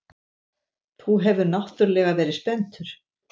Þú hefur náttúrlega verið spenntur.